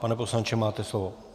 Pane poslanče, máte slovo.